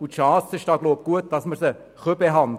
Die Chancen stehen noch gut, dass wir sie behandeln können.